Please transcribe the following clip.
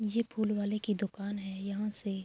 یہ پھول والے کی دکان ہے یہاں سے--